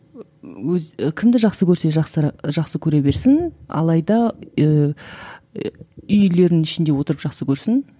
ы өз і кімді жақсы көрсе жақсара жақсы көре берсін алайда ііі үйлерінің ішінде отырып жақсы көрсін